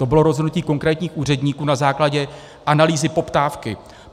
To bylo rozhodnutí konkrétních úředníků na základě analýzy poptávky.